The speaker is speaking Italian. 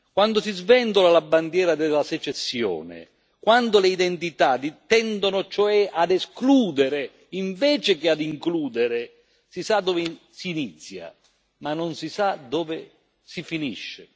Quando si sventola la bandiera della secessione, quando le identità tendono cioè ad escludere invece che ad includere, si sa dove si inizia ma non si sa dove si finisce.